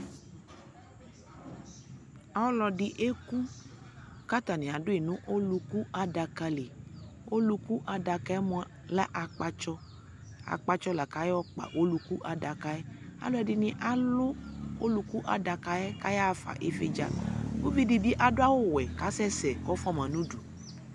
Ɔlɔdi ɛku katani adu yi nu ɔluku adaka liƆluku adaka yɛ mua lɛ akpatsɔAkpatsɔ la kayɔ kpa ɔluku adaka yɛKɛ dini alu ɔluku adaka yɛ ka ya ɣa fa ni vi dza Uvi di adu awu wɛ kasɛsɛ kɔ fua ma nu du